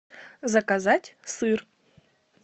заказать сыр